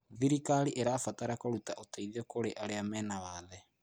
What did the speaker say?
Thirikari ĩrabatara kũruta ũteithio kũrĩ arĩa marĩ na wathe.